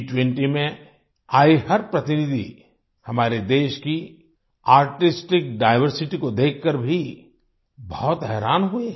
G20 में आए हर प्रतिनिधि हमारे देश की आर्टिस्टिक डाइवर्सिटी को देखकर भी बहुत हैरान हुए